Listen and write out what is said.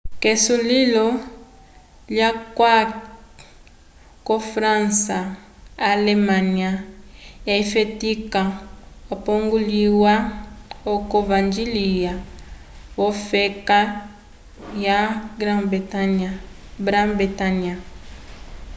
k'esulilo lyuyaki ko-fransa alemanya lyafetika okulipongiya oco vañgĩle v'ofeka yo brã-bretanya